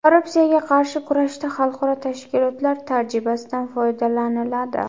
Korrupsiyaga qarshi kurashda Xalqaro tashkilotlar tajribasidan foydalaniladi.